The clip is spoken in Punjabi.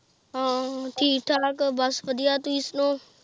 ਹਾਂ ਠੀਕ ਠਾਕ ਬੱਸ ਵਧੀਆ ਤੁਹੀਂ ਸੁਣਾਉ?